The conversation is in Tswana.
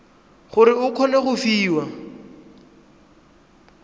gore o kgone go fiwa